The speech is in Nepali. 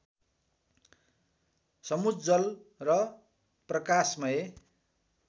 समुज्ज्वल र प्रकाशमय